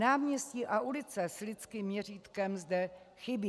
Náměstí a ulice s lidským měřítkem zde chybí.